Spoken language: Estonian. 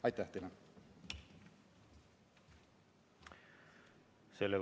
Aitäh teile!